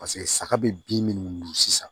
Paseke saga bɛ bin minnu dun sisan